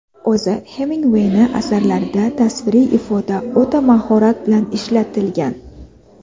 O‘zi Hemingway ni asarlarida tasviriy ifoda o‘ta mahorat bilan ishlatilgan.